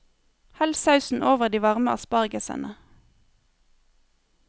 Hell sausen over de varme aspargesene.